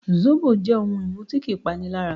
Zóbò jẹ́ ohun-ìmu tí kì í panilára